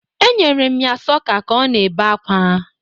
E nyere m ya sọka ka o na-ebe akwa.